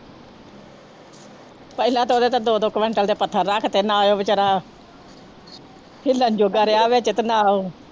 ਪਹਿਲਾਂ ਤਾਂ ਉਹਦੇ ਤੇ ਦੋ ਦੋ ਕੁਆਂਟਲ ਦੇ ਪੱਥਰ ਰੱਖ ਦਿੱਤੇ ਨਾ ਉਹ ਬੇਚਾਰਾ ਹਿੱਲਣ ਜੋਗਾ ਰਿਹਾ ਵਿੱਚ ਤੇ ਨਾ ਉਹ